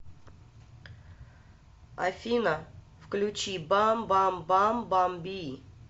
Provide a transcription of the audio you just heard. афина включи бам бам бам бамби